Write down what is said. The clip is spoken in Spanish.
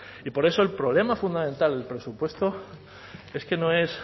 y por eso el problema fundamental del presupuesto es que no es